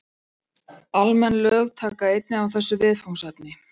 Almenn lög taka einnig á þessu viðfangsefni.